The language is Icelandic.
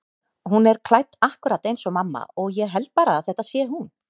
Hún er klædd akkúrat eins og mamma og ég held bara að þetta sé hún.